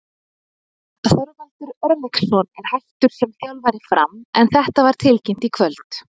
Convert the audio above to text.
Þorvaldur Örlygsson er hættur sem þjálfari Fram en þetta var tilkynnt í kvöld.